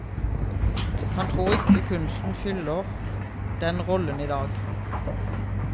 Han tror ikke kunsten fyller den rollen i dag.